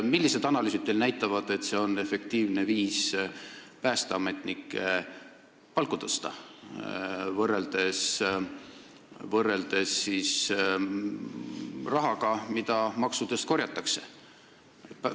Millised analüüsid teil näitavad, et see on efektiivne viis päästeametnike palka tõsta, selle asemel et kasutada raha, mida maksudena korjatakse?